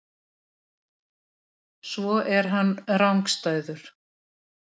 Svo er hann rangstæður.